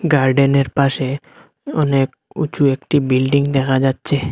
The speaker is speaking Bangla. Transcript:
গার্ডেনের পাশে অনেক উঁচু একটি বিল্ডিং দেখা যাচ্ছে।